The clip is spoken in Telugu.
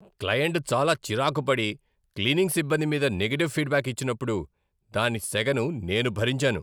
క్లయింట్ చాలా చిరాకు పడి, క్లీనింగ్ సిబ్బంది మీద నెగటివ్ ఫీడ్బ్యాక్ ఇచ్చినప్పుడు దాని సెగను నేను భరించాను.